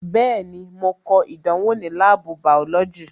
Bẹẹni, mo ko ìdánwò ní láàbù bàọ́lọ́jì "